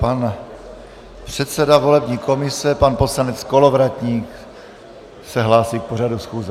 Pan předseda volební komise pan poslanec Kolovratník se hlásí k pořadu schůze.